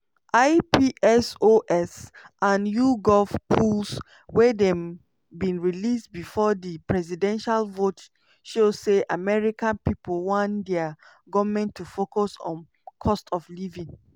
ipsos and yougov polls wey dem bin release before di presidential vote show say america pipo want dia goment to focus on cost of living.